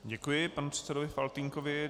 Děkuji panu předsedovi Faltýnkovi.